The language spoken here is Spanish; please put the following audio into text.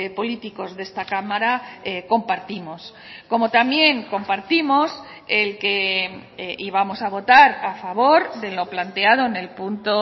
políticos de esta cámara compartimos como también compartimos el que íbamos a votar a favor de lo planteado en el punto